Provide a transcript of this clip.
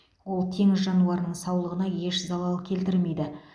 ол теңіз жануарының саулығына еш залал келтірмейді